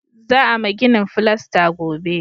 Za a ma ginin filasta gobe